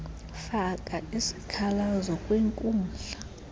faka isikhalazo kwinkundla